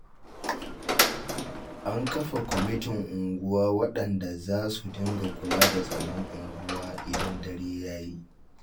An kafa kwamitin unguwa waɗanda za su dinga kula da tsaron unguwa idan dare ya yi